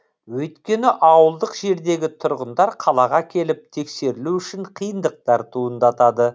өйткені ауылдық жердегі тұрғындар қалаға келіп тексерілу үшін қиындықтар туындатады